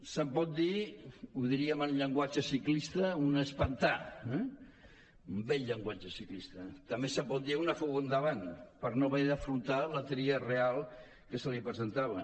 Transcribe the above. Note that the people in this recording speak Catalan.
se’n pot dir ho diríem en llenguatge ciclista una espantà un vell llenguatge ciclista també se’n pot dir una fuga endavant per no haver d’afrontar la tria real que se li presentava